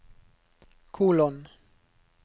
kolon